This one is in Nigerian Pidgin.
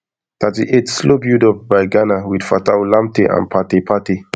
thirty-eightslow build up by ghana wit fatawu lamptey and partey partey